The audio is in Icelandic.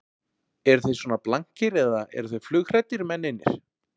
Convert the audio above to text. Eru þeir svona blankir eða eru þeir flughræddir, mennirnir?